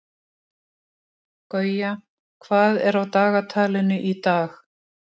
Gauja, hvað er á dagatalinu í dag?